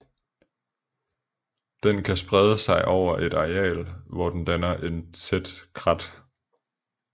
Den kan sprede sig over et areal hvor den danner et tæt krat